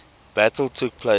battle took place